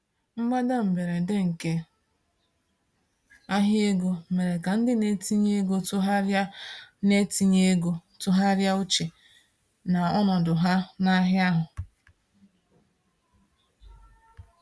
Mgbada mberede nke ahịa ego mere ka ndị na-etinye ego tụgharịa na-etinye ego tụgharịa uche na ọnọdụ ha n'ahịa ahụ.